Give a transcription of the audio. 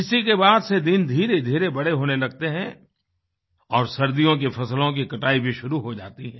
इसी के बाद से दिन धीरेधीरे बड़े होने लगते हैं और सर्दियों की फसलों की कटाई भी शुरू हो जाती है